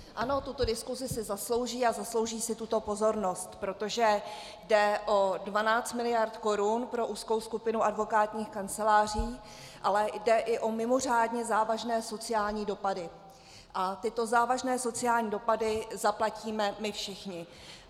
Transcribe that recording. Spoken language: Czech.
Ano, tuto diskusi si zaslouží a zaslouží si tuto pozornost, protože jde o 12 mld. korun pro úzkou skupinu advokátních kanceláří, ale jde i o mimořádně závažné sociální dopady a tyto závažné sociální dopady zaplatíme my všichni.